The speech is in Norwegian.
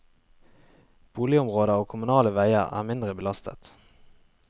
Boligområder og kommunale veier er mindre belastet.